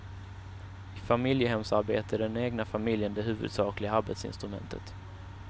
I familjehemsarbete är den egna familjen det huvudsakliga arbetsinstrumentet.